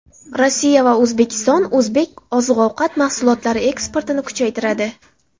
Rossiya va O‘zbekiston o‘zbek oziq-ovqat mahsulotlari eksportini kuchaytiradi.